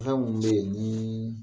Fɛn munnu be ye nii